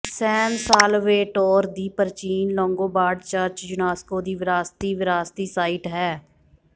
ਸੈਨ Salvatore ਦੀ ਪ੍ਰਾਚੀਨ Longobard church UNESCO ਦੀ ਵਿਰਾਸਤੀ ਵਿਰਾਸਤੀ ਸਾਈਟ ਹੈ